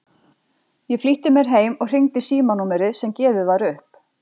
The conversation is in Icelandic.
Ég flýtti mér heim og hringdi í símanúmerið sem gefið var upp.